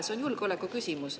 See on julgeolekuküsimus.